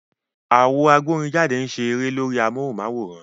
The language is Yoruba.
Àwo agbórinjáde ń ṣe a eré lórí amóhùnm'áwòrán